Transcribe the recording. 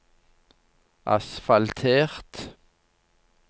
asfaltert